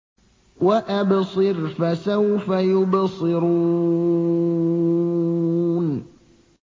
وَأَبْصِرْ فَسَوْفَ يُبْصِرُونَ